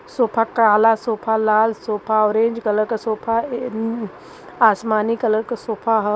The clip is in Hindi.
सोफा काला सोफा लाल सोफा औरेज कलर का सोफा अ आसमानी कलर का सोफा ह।